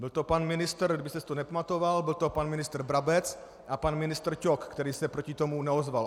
Byl to pan ministr, kdybyste si to nepamatoval, byl to pan ministr Brabec a pan ministr Ťok, který se proti tomu neozval.